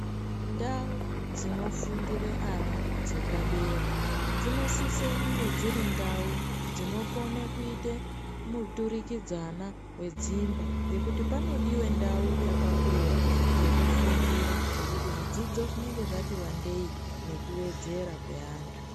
Ndau dzinofundira ana dzepadera dzinosisa kunge dziri ndau dzinokone kuita muturikidzana wedzimba ngekuti panodiwa ndau yakakura yekufundira ngekuti zvidzidzo zvinenge zvati wandei nekuwedzera kweantu.